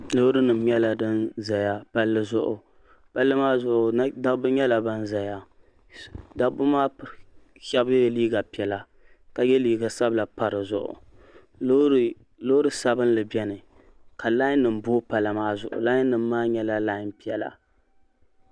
Lɔɔrinim nyala din ʒaya palli zuɣu, palli maa zuɣu daba nyala ban ʒaya. daba maa shabi yela liiga piɛla ka ye liiga sabila n pa dizuɣu. lɔɔri sabinli beni ka lienim boo pala maa zuɣu lienim nyala lie piɛla.